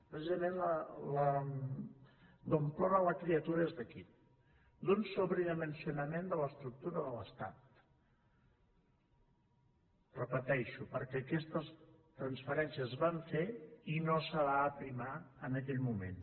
precisament d’on plora la criatura és d’aquí d’un sobredimensionament de l’estructura de l’estat ho repeteixo perquè aquestes transferències es van fer i no es va aprimar en aquell moment